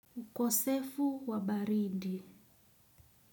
Ukosefu wa baridi.